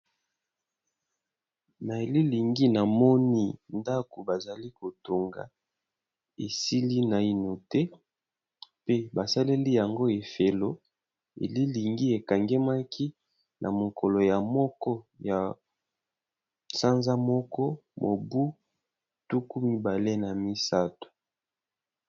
Nililingi namoni ndako bazo kotonga esili naino te pe basaliyeyo na ngo efelo elilingi ekangemaki namokoyamoko ya sanza moko mobu tukumibale na misatu.